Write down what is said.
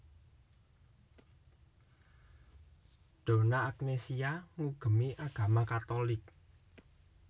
Donna Agnesia ngugemi agama Katolik